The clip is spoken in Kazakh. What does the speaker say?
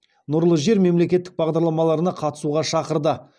нұрлы жер мемлекеттік бағдарламаларына қатысуға шақырды